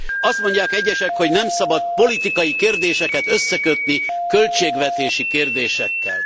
Azt mondják egyesek, hogy nem szabad politikai kérdéseket összekötni költségvetési kérdésekkel.